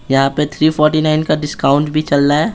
यहाँ पे three forty nine का डिस्काउंट भी चल रहा है।